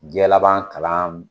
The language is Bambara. Diɲɛ laban kalan.